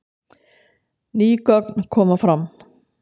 Ný gögn koma fram